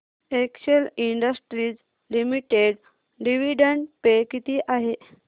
Excel Industries Limited dividend pay किती आहे